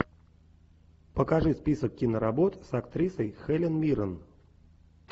покажи список киноработ с актрисой хелен миррен